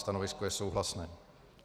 Stanovisko je souhlasné.